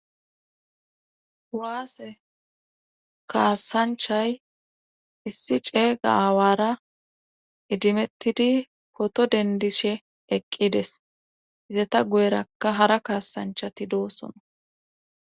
Huwaase kaasanchay issi ceega awaara idimettidi koto dendishe eqqides izata guyrakka hara kaasanchati doosona